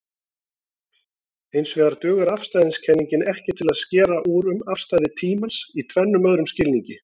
Hinsvegar dugar afstæðiskenningin ekki til að skera úr um afstæði tímans í tvennum öðrum skilningi.